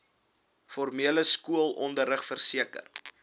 formele skoolonderrig verseker